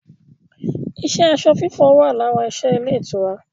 iṣẹ́ aṣọ fífọ̀ wà lára iṣẹ́ ilé ìtura